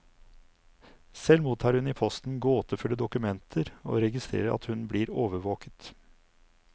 Selv mottar hun i posten gåtefulle dokumenter, og registrerer at hun blir overvåket.